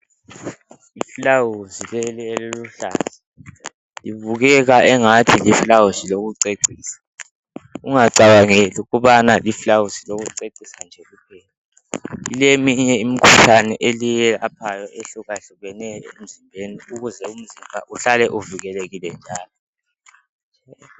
Liluba eliluhlaza libukeka engathi liluba lokucecisa ungacabangeli ukubana liluba lokucecisa nje kuphela lileminye imkhuhlane eliyelaphayo ehluka hlukeneyo emzimbeni ukuze umzimba uhlale uvikelekile njalo.